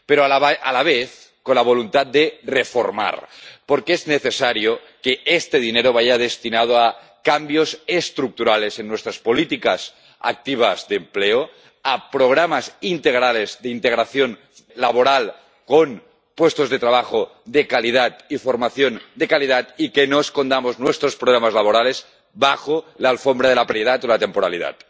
Pero a la vez con la voluntad de reformar, porque es necesario que este dinero vaya destinado a cambios estructurales en nuestras políticas activas de empleo, a programas integrales de integración laboral, con puestos de trabajo de calidad y formación de calidad, y que no escondamos nuestros problemas laborales bajo la alfombra de la precariedad o la temporalidad.